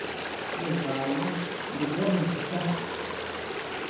uzayo ndibona ngesithatha